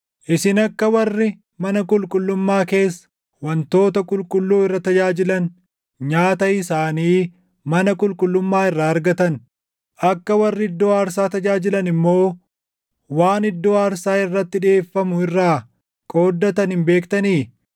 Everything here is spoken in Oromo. Isin akka warri mana qulqullummaa keessa wantoota qulqulluu irra tajaajilan nyaata isaanii mana qulqullummaa irraa argatan, akka warri iddoo aarsaa tajaajilan immoo waan iddoo aarsaa irratti dhiʼeeffamu irraa qooddatan hin beektanii?